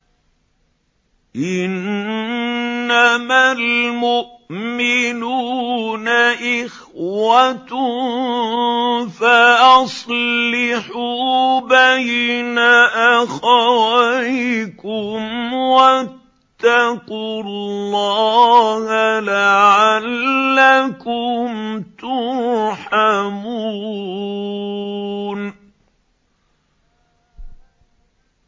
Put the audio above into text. إِنَّمَا الْمُؤْمِنُونَ إِخْوَةٌ فَأَصْلِحُوا بَيْنَ أَخَوَيْكُمْ ۚ وَاتَّقُوا اللَّهَ لَعَلَّكُمْ تُرْحَمُونَ